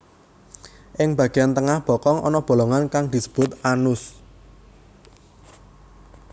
Ing bageyan tengah bokong ana bolongan kang sinebut anus